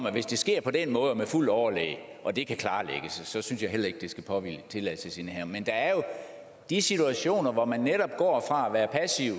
at hvis det sker på den måde og med fuldt overlæg og det kan klarlægges synes jeg heller ikke det skal påhvile tilladelsesindehaveren men der er jo de situationer hvor man netop går fra at